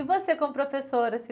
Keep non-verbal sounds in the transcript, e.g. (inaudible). E você como professora? (unintelligible)